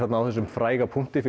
á þessum fræga punkti